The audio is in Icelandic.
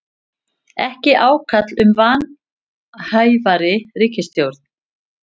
Ekki ákall um vanhæfari ríkisstjórn